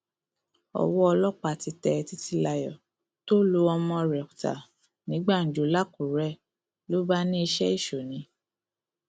ọwọ ọlọpàá ti tẹ títílayọ tó lu ọmọ rẹ ta ní gbàǹjo lákùrẹ ló bá ní iṣẹ èṣù ni